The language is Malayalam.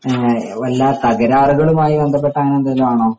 വല്ല തകരാറുകളുമായി ബന്ധപ്പെട്ട അങ്ങിനെ എന്തേലും ആണോ